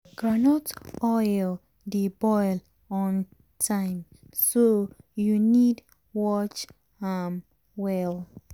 groundnut oil dey boil on time so u need watch am well.